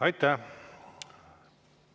Aitäh!